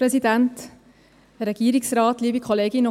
Kommissionssprecherin der GSoK-Minderheit.